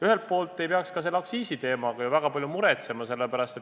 Ühelt poolt ei peaks selle aktsiisiteema pärast väga palju muretsema.